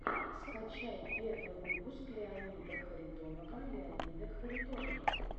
скачай первый выпуск леонида харитонова леонида харитонова